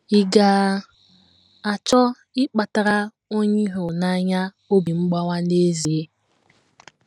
Ị̀ ga - achọ ịkpatara onye ị hụrụ n’anya obi mgbawa n’ezie?